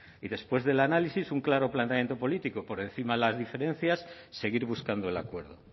y después del análisis un claro planteamiento político por encima de las diferencias seguir buscando el acuerdo